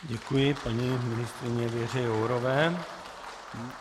Děkuji paní ministryni Věře Jourové.